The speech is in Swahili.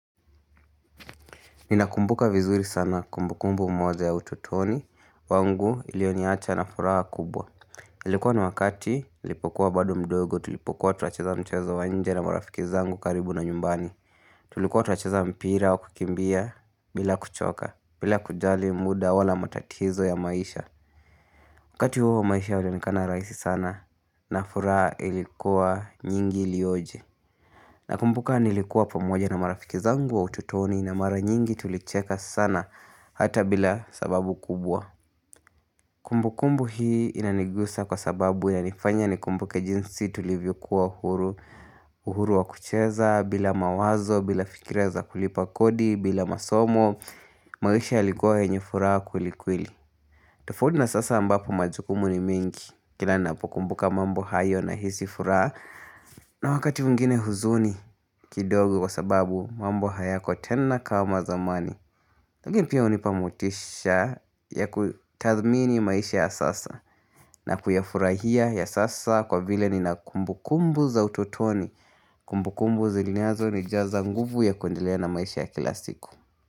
Ninakumbuka vizuri sana kumbukumbu moja ya utotoni, wangu iliyoniacha na furaha kubwa. Ilikuwa ni wakati nilipokuwa bado mdogo, tulipokuwa tunacheza mchezo wa nje na marafiki zangu karibu na nyumbani. Tulikuwa tuwacheza mpira wa kukimbia bila kuchoka, bila kujali muda wala matatizo ya maisha. Wakati huo maisha ilionikana raisi sana, na furaha ilikuwa nyingi ilioje. Nakumbuka nilikuwa pamoja na marafiki zangu wa utotoni na mara nyingi tulicheka sana hata bila sababu kubwa. Kumbukumbu hii inanigusa kwa sababu yanifanya nikumbuke jinsi tulivyokuwa uhuru, uhuru wa kucheza, bila mawazo, bila fikira za kulipa kodi, bila masomo, maisha ilikuwa yenye furaha kweli kweli. Tofaundi na sasa ambapo majukumu ni mengi, kila napo kumbuka mambo hayo nahisi furaha na wakati mwingine huzuni kidogo kwa sababu mambo hayako tena kama zamani Tugin pia unipa motisha ya kutadhmini maisha ya sasa na kuyafurahia ya sasa kwa vile nina kumbukumbu za utotoni Kumbukumbu zilinyazo nijaza nguvu ya kuendelea na maisha ya kila siku.